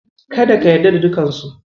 Kada ka yarda da dukansu.